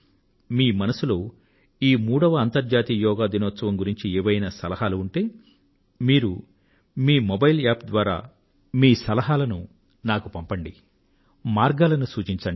మీ మనసులో ఈ మూడవ అంతర్జాతీయ యోగా దినం గురించి ఏవైనా సలహాలు ఉంటే మీరు మీ మీ సలహాలను మీ మొబైల్ యాప్ ద్వారా నాకు పంపండి మార్గాలను సూచించండి